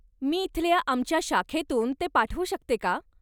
मी इथल्या आमच्या शाखेतून ते पाठवू शकते का?